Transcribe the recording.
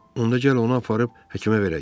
Onda gəl onu aparıb həkimə verək.